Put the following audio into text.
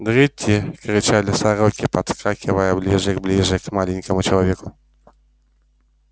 дри-ти-ти кричали сороки подскакивая ближе и ближе к маленькому человечку